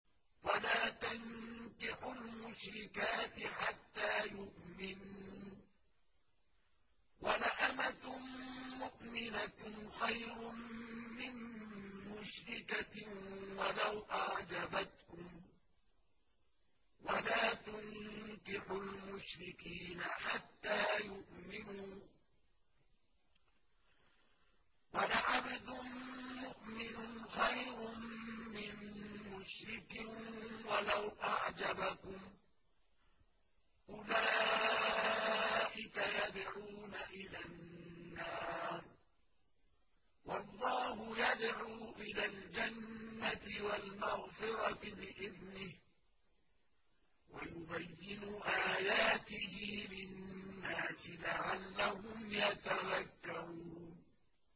وَلَا تَنكِحُوا الْمُشْرِكَاتِ حَتَّىٰ يُؤْمِنَّ ۚ وَلَأَمَةٌ مُّؤْمِنَةٌ خَيْرٌ مِّن مُّشْرِكَةٍ وَلَوْ أَعْجَبَتْكُمْ ۗ وَلَا تُنكِحُوا الْمُشْرِكِينَ حَتَّىٰ يُؤْمِنُوا ۚ وَلَعَبْدٌ مُّؤْمِنٌ خَيْرٌ مِّن مُّشْرِكٍ وَلَوْ أَعْجَبَكُمْ ۗ أُولَٰئِكَ يَدْعُونَ إِلَى النَّارِ ۖ وَاللَّهُ يَدْعُو إِلَى الْجَنَّةِ وَالْمَغْفِرَةِ بِإِذْنِهِ ۖ وَيُبَيِّنُ آيَاتِهِ لِلنَّاسِ لَعَلَّهُمْ يَتَذَكَّرُونَ